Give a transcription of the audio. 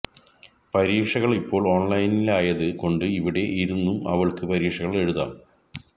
പരീക്ഷകൾ ഇപ്പോൾ ഓൺലൈനിലായത് കൊണ്ട് ഇവിടെ ഇരുന്നും അവൾക്ക് പരീക്ഷകൾ എഴുതാം